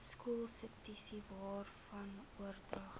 skoolsubsidies waarvan oordragte